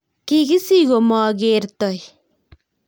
kikisich komakertoi